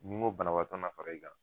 Ni n ko banabaatɔ na fara i kan